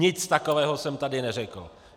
Nic takového jsem tady neřekl.